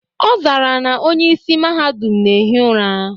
Ọ zara na onye isi Mahadum na ehi ụra.